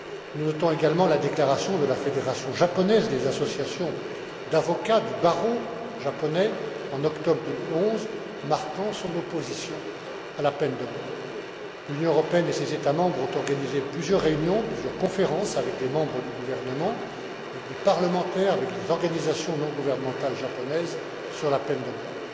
Nous notons également la déclaration de la fédération japonaise des associations d'avocats du barreau japonais en octobre 2011 marquant son opposition à la peine de mort. L'Union européenne et ses États membres ont organisé plusieurs réunions, plusieurs conférences avec des membres du gouvernement, avec des parlementaires, avec des organisations non gouvernementales japonaises sur la peine de mort.